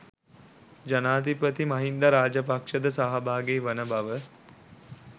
ජනාධිපති මහින්ද රාජපක්ෂද සහභාගි වන බව